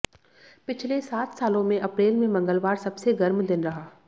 पिछले सात सालों में अप्रैल में मंगलवार सबसे गर्म दिन रहा